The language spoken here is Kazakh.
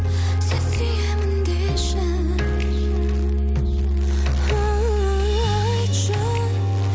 сен сүйемін деші айтшы